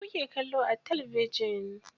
Me kuke kallo a talabijin?